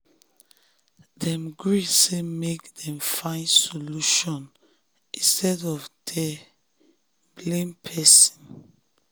dem gree say make dem find solution instead of dey blame person.